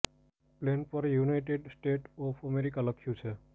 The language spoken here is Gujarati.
પ્લેન પર યુનાઈટેડ સ્ટેટ્સ ઓફ અમેરિકા લખ્યું છે